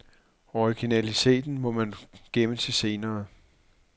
Originaliteten må man gemme til senere.